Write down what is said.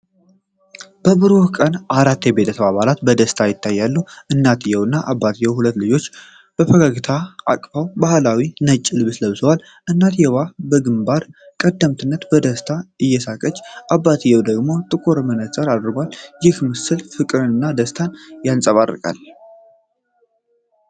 በብሩህ ቀን አራት የቤተሰብ አባላት በደስታ ይታያሉ። እናትየው እና አባትየው ሁለት ልጆቻቸውን በፈገግታ አቅፈው ባህላዊ ነጭ ልብስ ለብሰዋል። እናትየው በግንባር ቀደምትነት በደስታ እየሳቀች፣ አባትየው ደግሞ ጥቁር መነጽር አድርጎል። ይህ ምስል ፍቅርንና ደስታን ያንጸባርቃል።